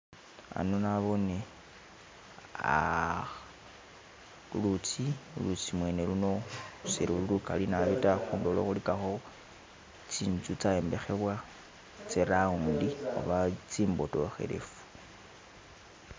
Hano naboone ulutsi, lulutsi mwene luno seluli ligali nabi ta khundulo khuligakho tisnzu tsa yombekhebwa tse round oba tsimbodokelefu.